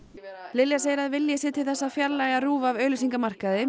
Lilja segir að vilji sé til þess að fjarlægja RÚV af auglýsingamarkaði